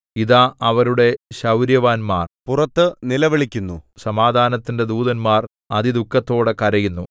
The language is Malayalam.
ഇതാ അവരുടെ ശൗര്യവാന്മാർ പുറത്തു നിലവിളിക്കുന്നു സമാധാനത്തിന്റെ ദൂതന്മാർ അതിദുഃഖത്തോടെ കരയുന്നു